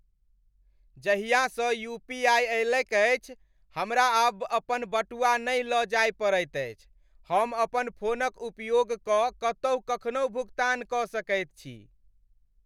जाहियासँ UPI अयलैक अछि, हमरा आब अपन बटुआ नहि लऽ जाय पड़ैत अछि। हम अपन फोनक उपयोग कऽ कतहु कखनहु भुगतान कऽ सकैत छी।